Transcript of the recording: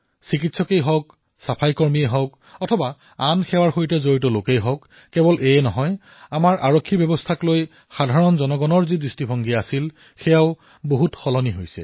চিকিৎসকেই হওক চাফাই কৰ্মীয়েই হওক অন্য সেৱাৰ সৈতে জড়িত লোকেই হওক এয়াই নহয় আমাৰ আৰক্ষীব্যৱস্থাক লৈও সাধাৰণৰ লোকৰ চিন্তাধাৰাৰ পৰিৱৰ্তন হৈছে